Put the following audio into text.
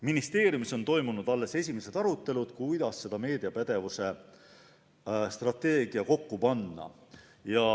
Ministeeriumis on toimunud alles esimesed arutelud, kuidas seda meediapädevuse strateegiat kokku panna.